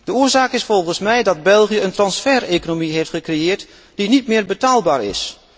De oorzaak is volgens mij dat België een transfereconomie heeft gecreëerd die niet meer betaalbaar is.